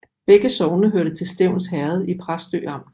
Begge sogne hørte til Stevns Herred i Præstø Amt